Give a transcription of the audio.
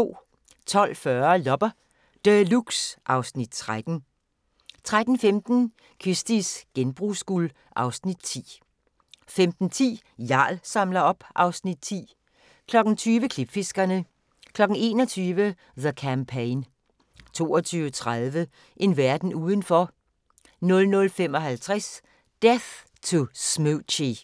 12:40: Loppe Deluxe (Afs. 13) 13:15: Kirsties genbrugsguld (Afs. 10) 15:10: Jarl samler op (Afs. 10) 20:00: Klipfiskerne 21:00: The Campaign 22:30: En verden udenfor 00:55: Death to Smoochy